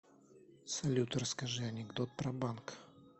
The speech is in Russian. салют расскажи анекдот про банк